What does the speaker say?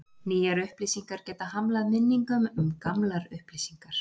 nýjar upplýsingar geta hamlað minningum um gamlar upplýsingar